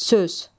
Söz.